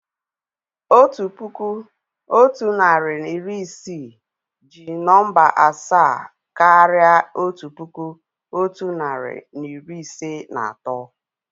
Otu puku, otu narị na iri isii jí nọ̀mbà asaa káraà otu puku, otu narị na iri ise na atọ